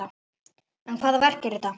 En hvaða verk er þetta?